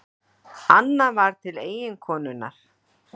Annað var til eiginkonunnar.